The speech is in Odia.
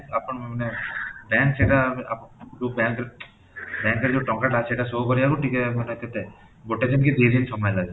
ଆପଣ ମାନେ bank ସେଇଟା ଆପଣ ଯୋଉ bank ରେ bank ରେ ଯୋଉ ଟଙ୍କା ଅଛି ସେଟା show କରିବାକୁ ଟିକେ ମାନେ କେତେ ଗୋଟେ କି ଦୁଇ ଦିନ ସମୟ ଲାଗେ,